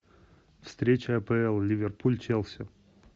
встреча апл ливерпуль челси